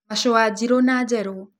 Mashũa njĩrũ na njerũ.